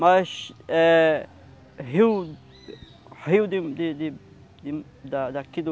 Mas é rio rio de de de de da da daqui do